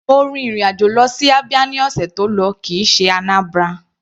Mo rin ìrìn àjò lọ sí Abia ní ọ̀sẹ̀ tó lọ kìí ṣe Anambra.